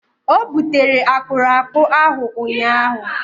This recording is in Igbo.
O butere akpụrakpụ ahụ ụnyahụ.